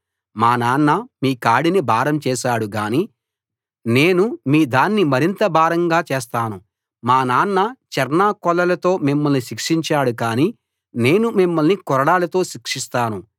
మా నాన్న మీ కాడిని భారం చేశాడు గాని నేను మీ దాన్ని మరింత భారంగా చేస్తాను మా నాన్న చెర్నాకోలలతో మిమ్మల్ని శిక్షించాడు కానీ నేను మిమ్మల్ని కొరడాలతో శిక్షిస్తాను